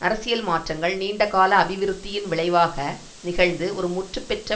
அரசியல் மாற்றங்கள் நீண்ட கால அபிவிருத்தியின் விளைவாக நிகழ்ந்து ஒரு முற்றுப்பெற்ற